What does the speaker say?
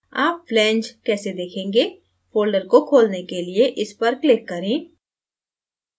आप flange कैस देखेंगे folder को खोलने के लिए इस पर click करें